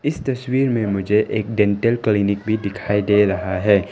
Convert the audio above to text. इस तस्वीर में मुझे एक डेंटल क्लिनिक भी दिखाई दे रहा है।